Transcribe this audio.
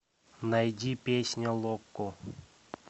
найди песня локо